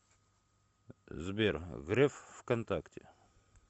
сбер греф в контакте